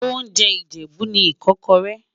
oúnjẹ ìjèbú ní ikókóré